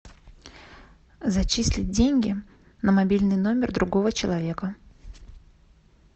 зачислить деньги на мобильный телефон другого человека